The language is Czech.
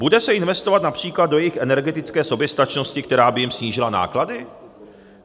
Bude se investovat například do jejich energetické soběstačnosti, která by jim snížila náklady?